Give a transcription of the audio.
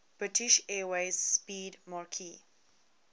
british airways 'speedmarque